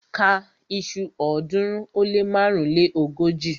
Ka iṣu ọ̀ọ́dúnrún ó lé márùnléógójì!